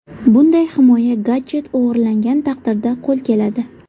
Bunday himoya gadjet o‘g‘irlangan taqdirda qo‘l keladi.